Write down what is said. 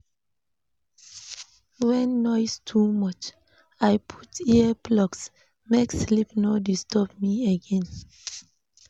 When noise too much, I put earplugs, make sleep no disturb me again.